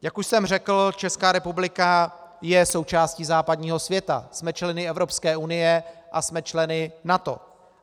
Jak už jsem řekl, Česká republika je součástí západního světa, jsme členy Evropské unie a jsme členy NATO.